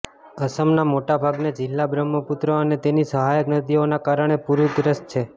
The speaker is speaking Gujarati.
અસમના મોટા ભાગના જિલ્લા બ્રહ્મપુત્ર અને તેની સહાયક નદીઓના કારણે પુરગ્રસ્ત છે